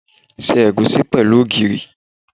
Se egusi pẹ̀lú ogìrì.